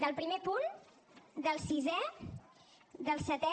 del primer punt del sisè del setè